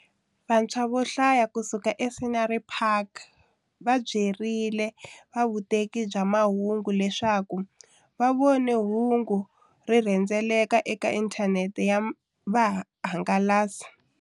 Vantshwa vo hlaya kusuka eScenery Park va byerile va vuteki bya mahungu leswaku va vone hungu ri rhendzeleka eka inthanete ya vuhangalasi.